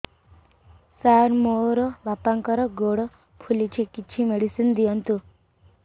ସାର ମୋର ବାପାଙ୍କର ଗୋଡ ଫୁଲୁଛି କିଛି ମେଡିସିନ ଦିଅନ୍ତୁ